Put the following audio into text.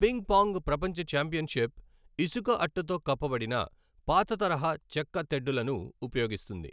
Ping pong ప్రపంచ championship ఇసుక అట్టతో కప్పబడిన పాతతరహా చెక్క తెడ్డులను ఉపయోగిస్తుంది.